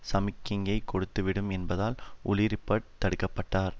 சமிக்ஞையை கொடுத்துவிடும் என்பதால் உலி ரிப்பர்ட் தடுக்கப்பட்டார்